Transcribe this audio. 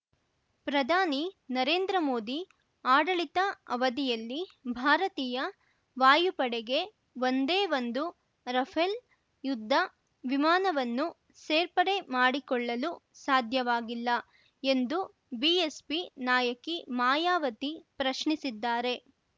ಪ್ರಧಾನಿ ನರೇಂದ್ರ ಮೋದಿ ಆಡಳಿತ ಅವಧಿಯಲ್ಲಿ ಭಾರತೀಯ ವಾಯುಪಡೆಗೆ ಒಂದೇ ಒಂದು ರಫೇಲ್ ಯುದ್ಧ ವಿಮಾನವನ್ನು ಸೇರ್ಪಡೆ ಮಾಡಿಕೊಳ್ಳಲು ಸಾಧ್ಯವಾಗಿಲ್ಲ ಎಂದು ಬಿಎಸ್ಪಿ ನಾಯಕಿ ಮಾಯಾವತಿ ಪ್ರಶ್ನಿಸಿದ್ದಾರೆ